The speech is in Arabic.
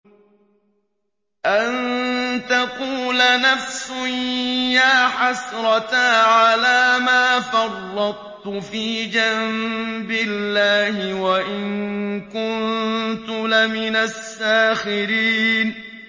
أَن تَقُولَ نَفْسٌ يَا حَسْرَتَا عَلَىٰ مَا فَرَّطتُ فِي جَنبِ اللَّهِ وَإِن كُنتُ لَمِنَ السَّاخِرِينَ